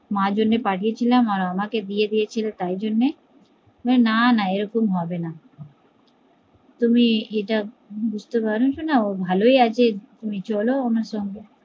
মার জন্যই পাঠিয়েছিলাম আর আমাকে দিয়েদিয়েছিলে তার জন্যে না না এরকম হবে না, তুমি এটা বুজতে পারছোনা ও ভালোই আছে চলো আমার সঙ্গে